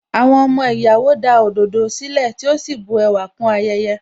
Àwọn ọmọ ìyàwó da òdòdó sílẹ̀, tí ó sì bu ẹwà kún ayẹyẹ.